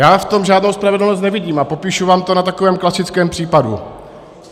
Já v tom žádnou spravedlnost nevidím a popíšu vám to na takovém klasickém případu.